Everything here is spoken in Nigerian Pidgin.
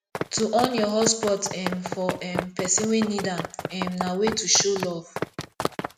to on your hotspot um for um persin wey need am um na way to show love